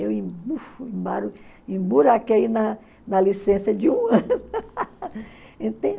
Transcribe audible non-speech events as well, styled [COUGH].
Eu [UNINTELLIGIBLE] emburaquei na na licença de um ano. [LAUGHS]